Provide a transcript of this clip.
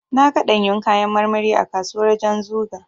Na ga ɗanyun kayan marmari a kasuwar Janzuga.